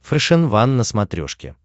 фэшен ван на смотрешке